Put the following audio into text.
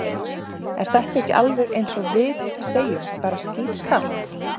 Er þetta ekki alveg eins og við segjum bara skítkalt?